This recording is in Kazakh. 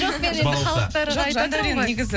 жоқ мен енді халықтарға айтватырмын ғой